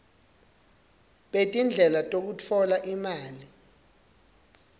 betindlela tekutfola imali